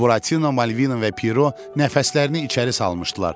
Buratino, Malvino və Piero nəfəslərini içəri salmışdılar.